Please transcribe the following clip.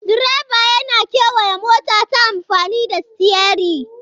Direba yana kewaya mota ta amfani da sitiyari.